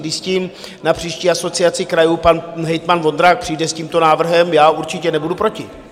Když s tím na příští Asociaci krajů pan hejtman Vondrák přijde, s tímto návrhem, já určitě nebudu proti.